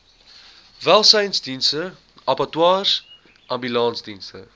welsynsdienste abattoirs ambulansdienste